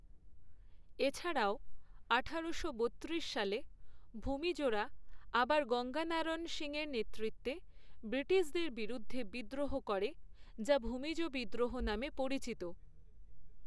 এছাড়াও আঠারোশো বত্রিশ সালে, ভূমিজরা আবার গঙ্গানারায়ণ সিংয়ের নেতৃত্বে ব্রিটিশদের বিরুদ্ধে বিদ্রোহ করে, যা ভূমিজ বিদ্রোহ নামে পরিচিত।